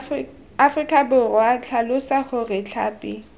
aforika borwa tlhalosa gore tlhapi